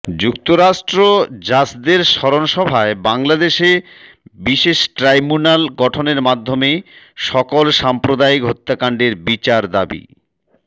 যুক্তরাষ্ট্র জাসদের স্মরণ সভায় বাংলাদেশে বিশেষ ট্রাইম্যুনাল গঠনের মাধ্যমে সকল সাম্প্রদায়িক হত্যাকান্ডের বিচার দাবি